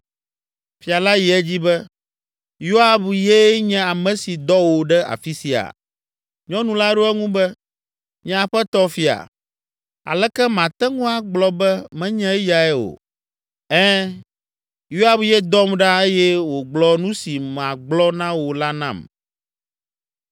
Fia la yi edzi be, “Yoab ye nye ame si dɔ wò ɖe afi sia?” Nyɔnu la ɖo eŋu be, “Nye aƒetɔ fia, aleke mate ŋu agblɔ be menye eyae o? Ɛ̃, Yoab ye dɔm ɖa eye wògblɔ nu si magblɔ na wò la nam.